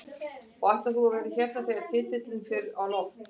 Og ætlar þú að vera hérna þegar titilinn fer á loft?